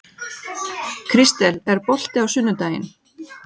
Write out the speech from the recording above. Kristel, er bolti á sunnudaginn?